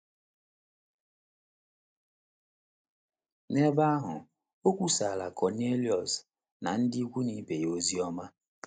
N’ebe ahụ, o kwusaara Kọniliọs na ndị ikwu na ibe ya ozi ọma.